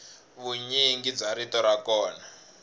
vunyingi bya rito ra kona